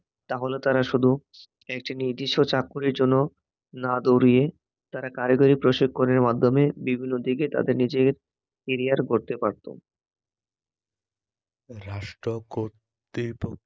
তাহলে তারা শুধু একটি নির্দিষ্ট চাকুরীর জন্য না দৌড়িয়ে তারা কারিগরি প্রশিক্ষণের মাধ্যমে বিভিন্ন দিকে তাদের নিজেদের ক্যারিয়ার গড়তে পারতো রাষ্ট্র কর্তিত